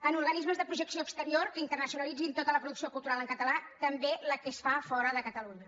en organismes de projecció exterior que internacionalitzin tota la producció cultural en català també la que es fa fora de catalunya